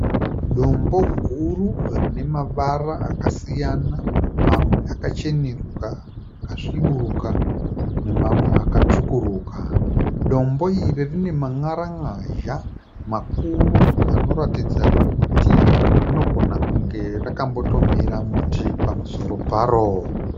Dombo guru rine mavara akasiyana mamwe akachenuruka, akasviburuka nemawe akatsvukuruka. Dombo iri rine man'ara n'azha makuru anoratidza kuti rinogona kunge rakamboto mera muti pamusoro paro.